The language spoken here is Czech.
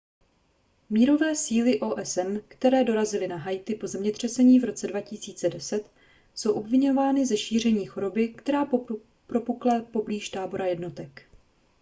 mírové síly osn které dorazily na haiti po zemětřesení v roce 2010 jsou obviňovány ze šíření choroby která propukla poblíž tábora jednotek